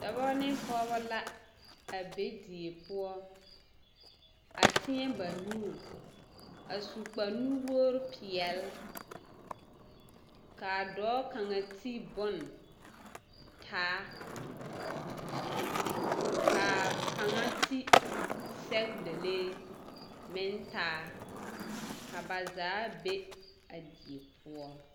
Dɔbɔ ne Pɔgebɔ la a be die poɔ a tēɛ ba nuuri a su kpare nu-wogiri peɛle ka a dɔɔ kaŋa ti bone taa ka kaŋa ti sɛgedalee meŋ taa ka ba zaa be a die poɔ.